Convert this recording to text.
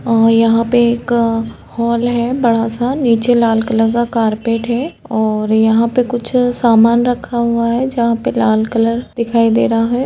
और यहा पे एक हॉल है बड़ा सा। नीचे लाल कलर का कारपेट है और यहाँ पे कुछ सामान रखा हुआ है जहाँ पे लाल कलर दिखाई दे रहा है।